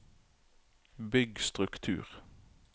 bygg struktur